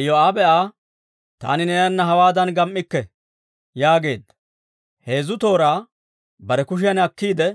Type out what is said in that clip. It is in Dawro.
Iyoo'aabe Aa, «Taani neenana hawaadan gam"ikke» yaageedda; heezzu tooraa bare kushiyan akkiide,